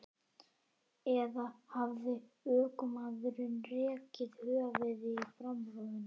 Eða hafði ökumaðurinn rekið höfuðið í framrúðuna?